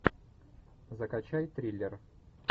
закачай триллер